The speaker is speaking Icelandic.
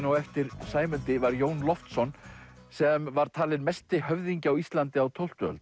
á eftir Sæmundi var Jón Loftsson sem var talinn mesti höfðingi á Íslandi á tólftu öld